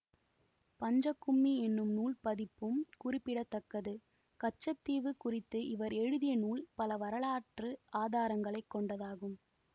பஞ்சக் கும்மி என்னும் நூல் பதிப்பும் குறிப்பிட தக்கது கச்ச தீவு குறித்த இவர் எழுதிய நூல் பல வரலாற்று ஆதாரங்களை கொண்டதாகும்